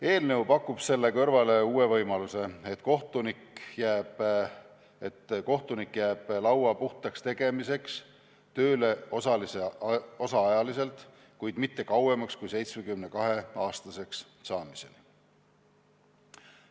Eelnõu pakub selle kõrvale uue võimaluse, et kohtunik jääb laua puhtaks tegemiseks osaajaga tööle, kuid mitte kauemaks kui 72-aastaseks saamiseni.